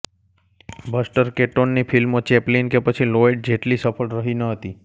buster કેટોનની ફિલ્મો Chaplin કે પછી લોયડ જેટલી સફળ રહી ન હતી